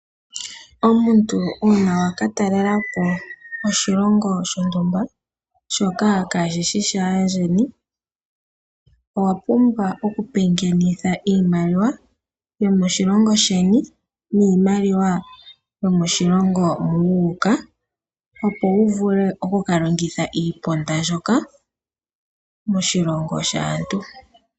Omuntu una wakatalela po oshilongo shontumba shoka kashishi shandjeni owapumbwa oku pengenitha iimaliwa yomoshilongo sheni niimalwa yomoshilongo moka wuka opo wuvule okukalongitha iiponda mbyoka moshilongo shaantu.